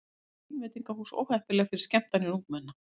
Telja vínveitingahús óheppileg fyrir skemmtanir ungmenna